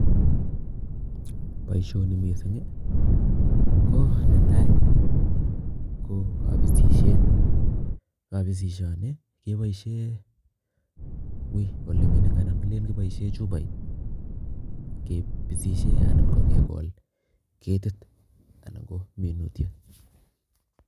Boisioni mising ii ko netai ii, ko kabisisiet, kabisisioni keboisie wui ole mining anan kilen kiboisie chupoit kebisisie anan kokekol ketit anan ko minutiet.